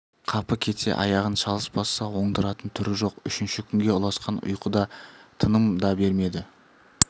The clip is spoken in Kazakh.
қапы кетсе аяғын шалыс басса оңдыратын түрі жоқ үшінші күнге ұласқан ұйқы да тыным да бермеді